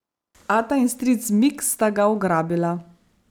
Ata in stric Mik sta ga ugrabila.